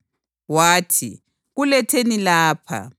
Wathi, “Kuletheni lapha.”